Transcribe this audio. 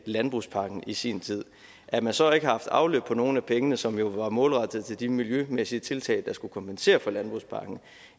landbrugspakken i sin tid at man så ikke har haft afløb på nogle af pengene som jo var målrettet de miljømæssige tiltag der skulle kompensere for landbrugspakken